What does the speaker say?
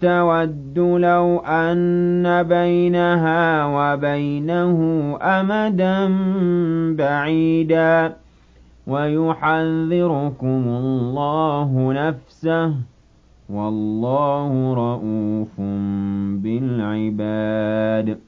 تَوَدُّ لَوْ أَنَّ بَيْنَهَا وَبَيْنَهُ أَمَدًا بَعِيدًا ۗ وَيُحَذِّرُكُمُ اللَّهُ نَفْسَهُ ۗ وَاللَّهُ رَءُوفٌ بِالْعِبَادِ